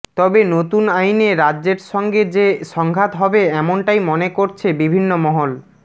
তবে নতুন আইনে রাজ্যের সঙ্গে যে সংঘাত হবে এমনটাই মনে করছে বিভিন্ন মহল